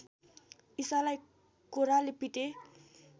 ईसालाई कोर्राले पिटे